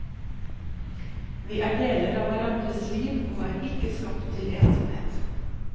Vi er deler av hverandres liv, og er ikke skapt til ensomhet.